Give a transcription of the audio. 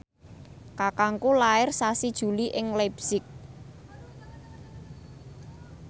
kakangku lair sasi Juli ing leipzig